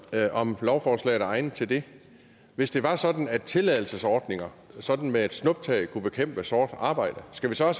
om lovforslaget er egnet til det hvis det var sådan at tilladelsesordninger sådan med et snuptag kunne bekæmpe sort arbejde skal vi så